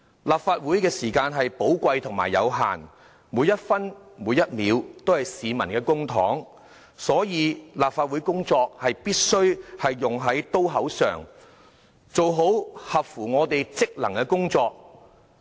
立法會的時間是寶貴和有限的，每一分、每一秒，都是市民的公帑，所以立法會工作必須用在刀口上，做好我們職能內的工作。